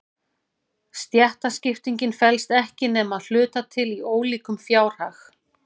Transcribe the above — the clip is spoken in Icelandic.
Stéttaskiptingin felst ekki nema að hluta til í ólíkum fjárhag.